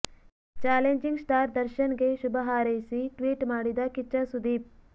challenging star Darshan ಗೆ ಶುಭ ಹಾರೈಸಿ ಟ್ವೀಟ್ ಮಾಡಿದ ಕಿಚ್ಚ ಸುದೀಪ್